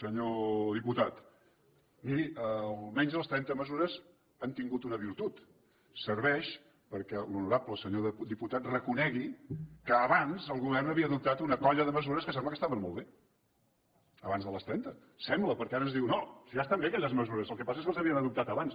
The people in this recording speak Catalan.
senyor diputat miri almenys les trenta mesures han tingut una virtut serveixen perquè l’honorable senyor diputat reconegui que abans el govern havia adoptat una colla de mesures que sembla que estaven molt bé abans de les trenta ho sembla perquè ara ens diu no si ja estan bé aquelles mesures el que passa és que les havien adoptat abans